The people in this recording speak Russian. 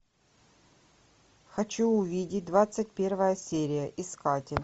хочу увидеть двадцать первая серия искатель